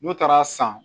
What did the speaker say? N'u taara san